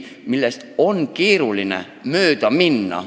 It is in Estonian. Nendest ongi keeruline mööda minna.